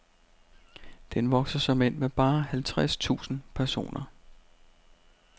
Den vokser såmænd med bare halvtreds tusind personer.